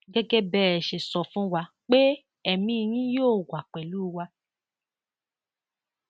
gẹgẹ bẹ ẹ ṣe sọ fún wa pé ẹmí yín yóò wà pẹlú wa